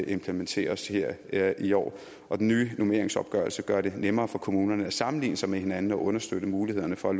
implementeres her i år og den nye normeringsopgørelse gør det nemmere for kommunerne at sammenligne sig med hinanden og understøtte mulighederne for